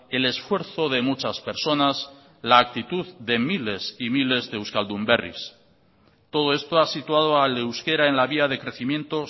el esfuerzo de muchas personas la actitud de miles y miles de euskaldun berris todo esto ha situado al euskera en la vía de crecimiento